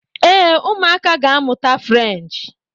Ee, ụmụaka ga-amụta French